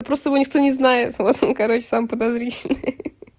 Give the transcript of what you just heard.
просто его никто не знает вот он короче самый подозрительный